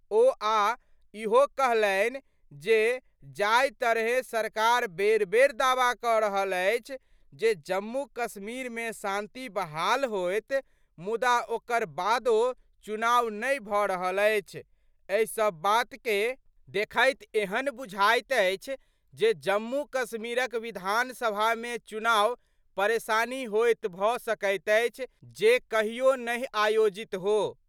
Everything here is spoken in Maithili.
ओ आ इहो कहलनि जे जाहि तरहें सरकार बेर-बेर दावा कह रहल अछि जे जम्मू-कश्मीर मे शांति बहाल होयत, मुदा ओकर बादो चुनाव नहि भह्न रहल अछि, एहि सब बात के देखैत एहन बुझाइत अछि जे जम्मू- कश्मीरक विधानसभा मे चुनाव परेशानी होयत भ सकैत अछि जे कहियो नहि आयोजित हो।